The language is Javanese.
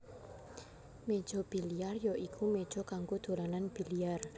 Méja biliar ya iku méja kanggo dolanan biliar